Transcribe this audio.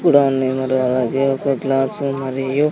కూడా ఉన్నాయ్ మరి అలాగే ఒక్క గ్లాసు మరియు--